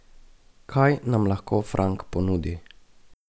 Kaj nam lahko Frank ponudi?